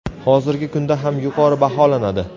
Hozirgi kunda ham yuqori baholanadi.